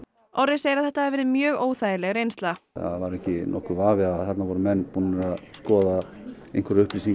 Orri segir að þetta hafi verið mjög óþægileg reynsla það var ekki nokkur vafi að þarna voru menn búnir að skoða einhverjar upplýsingar